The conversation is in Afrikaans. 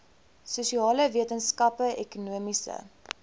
sosiale wetenskappe ekonomiese